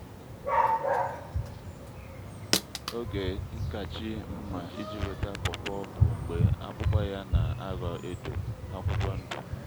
oge nkàchì nma iji wéta pọ́pọ́ bụ́ mgbe ákpụ́kpọ́ ya ná-ághọ́ édò-ákwụ́kwọ́ ndụ́